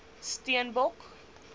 steenbok